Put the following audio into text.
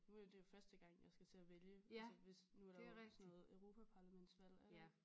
Nu er det jo første gang jeg skal til at vælge altså hvis nu er der jo sådan noget Europaparlamentsvalg er der ikke?